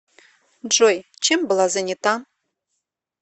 джой чем была занята